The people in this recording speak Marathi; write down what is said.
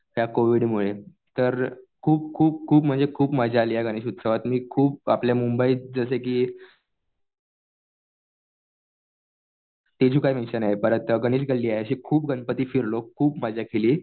त्या कोविडमुळे. तर खूप खूप खूप म्हणजे खूप मजा आली या गणेश उत्सवात. मी आपल्या मुबंईत जसं कि मिशन आहे. परत गणेश गल्ली आहे. असे खूप गणपती फिरलो खूप मजा केली.